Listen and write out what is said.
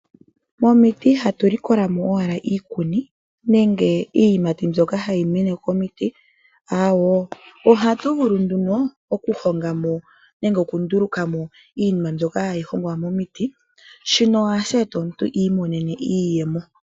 Momiti ihatu likola mo owala iikuni nenge Iiyimati mbyoka hayi mene komiti. Ohatu vulu okuhongwamo nenge oku ndulukamo iinima mbyoka hayi hongwa momiti. Shika ohashi eta omuntu iimonene iiyemo.